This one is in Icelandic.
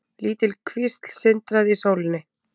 Lítil kvísl sindraði í sólinni.